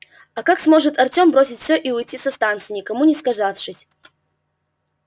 а как сможет артём бросить все и уйти со станции никому не сказавшись